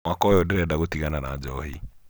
mwaka ũyũ ndĩrenda gũtigana na njohi